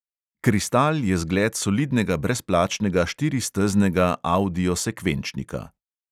Kristal je zgled solidnega brezplačnega štiristeznega avdio sekvenčnika.